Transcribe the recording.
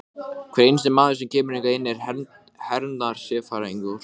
Hann missti íbúðina, sem hann leigði, óvænt fyrir nokkrum dögum.